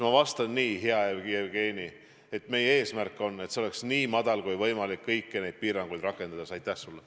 Ma vastan nii, hea Jevgeni: meie eesmärk on, et see oleks kõiki neid piiranguid rakendades nii madal kui võimalik.